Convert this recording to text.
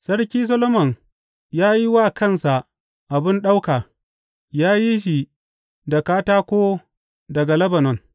Sarki Solomon ya yi wa kansa abin ɗauka; ya yi shi da katako daga Lebanon.